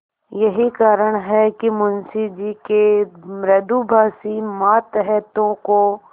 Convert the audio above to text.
यही कारण है कि मुंशी जी के मृदुभाषी मातहतों को